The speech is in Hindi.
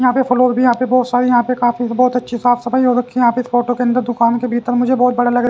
यहां पे फ्लोर भी यहां पे बहुत सारी यहां पे काफी बहुत अच्छी साफ सफाई हो रखी है यहां पे इस फोटो के अंदर दुकान के भीतर मुझे बहुत बड़ा लग र--